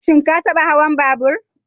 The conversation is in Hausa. Shin ka taɓa hawan babur?